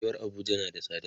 rayuwar Abuja na da tsada